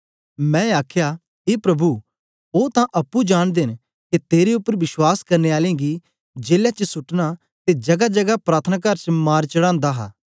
मैं आखया ए प्रभु ओ तां अप्पुं जांनदे न के तेरे उपर विश्वास करने आलें गी जेले च सुटना ते जगाजगा प्रार्थनाकार च मार चढ़ांदा हा